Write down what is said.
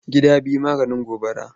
Gida biyu maganin gobara.